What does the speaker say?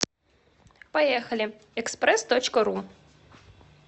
поехали экспресс точка ру